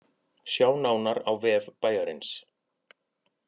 Sjá nánar á vef bæjarins